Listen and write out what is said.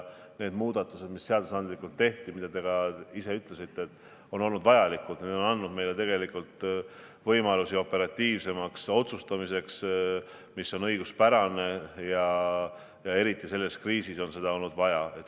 Need muudatused, mis seadusandlikult tehti – mida te ka ise ütlesite –, on olnud vajalikud, need on andnud meile võimalusi operatiivsemaks õiguspäraseks otsustamiseks, ja eriti selles kriisis on seda olnud vaja.